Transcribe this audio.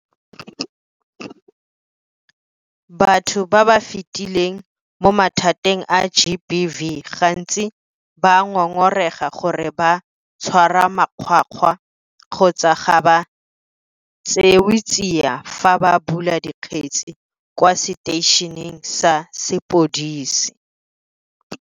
Batho ba ba fetileng mo mathateng a GBV gantsi ba ngongorega gore ba tshwarwa makgwakgwa kgotsa ga ba tseewe tsia fa ba bula dikgetse kwa seteišeneng sa sepodisi.